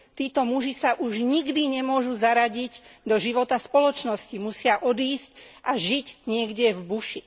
Títo muži sa už nikdy nemôžu zaradiť do života v spoločnosti, musia odísť a žiť niekde v buši.